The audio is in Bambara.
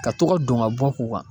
Ka tɔgɔ dɔn ka bɔ k'u kan.